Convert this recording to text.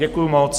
Děkuju moc.